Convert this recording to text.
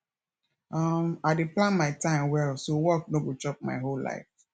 um i dey plan my time well so work no go chop my whole life